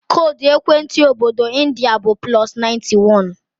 Koodu ekwentị obodo ndị a bụ +91.